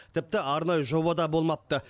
тіпті арнайы жоба да болмапты